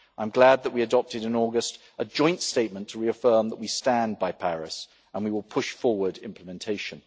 I am glad that we adopted, in August, a joint statement to reaffirm that we stand by Paris, and we will push forward implementation.